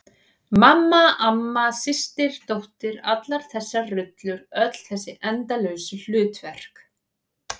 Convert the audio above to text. Mamma, amma, systir dóttir- allar þessar rullur, öll þessi endalausu hlutverk.